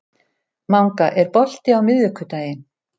Manga, er bolti á miðvikudaginn?